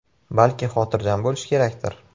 “Balki xotirjam bo‘lish kerakdir?